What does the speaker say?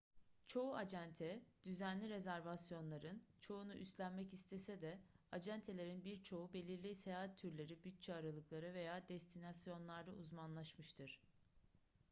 çoğu acente düzenli rezervasyonların çoğunu üstlenmek istese de acentelerin birçoğu belirli seyahat türleri bütçe aralıkları veya destinasyonlarda uzmanlaşmıştır